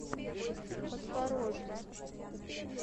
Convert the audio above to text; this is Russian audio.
подпорожью